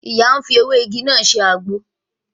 Ìyá ń fi ewé igi náà sè àgbo